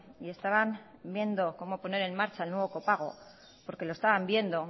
y estaban viendo cómo poner en marcha el nuevo copago porque lo estaban viendo